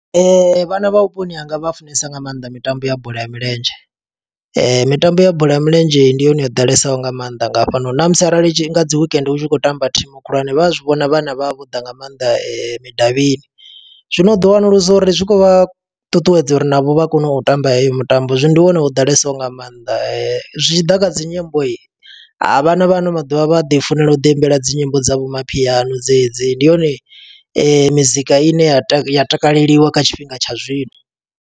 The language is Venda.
Vhana vha vhuponi hanga vha funesa nga maanḓa mitambo ya bola ya milenzhe. Mitambo ya bola ya milenzhe ndi yone yo ḓalesaho nga mannḓa nga hafhanoni, na musi arali nga dzi wekende hu tshi khou tamba thimu khulwane. Vha a zwi vhona vhana vha vha vho ḓa nga maanḓa midavhini. Zwino u ḓo wanulusa uri zwi khou vha ṱuṱuwedza uri navho vha kone u tamba heyo mitambo. Zwino ndi hone ho ḓalesaho nga maanḓa, zwi tshiḓa kha dzi nyimbo, ha vhana vha ano maḓuvha vha ḓi funela u ḓi imbela dzi nyimbo dza vho mapiano dze dzi. Ndi yone mizika i ne ya taka ya takaleliwa kha tshifhinga tsha zwino.